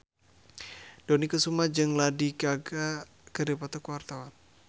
Dony Kesuma jeung Lady Gaga keur dipoto ku wartawan